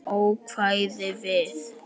Ókvæða við